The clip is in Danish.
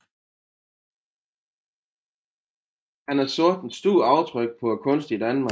Han har sat et stort aftryk på kunsten i Danmark